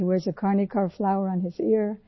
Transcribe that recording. وہ اپنے کانوں میں کرنیکا کے پھول لگاتے ہیں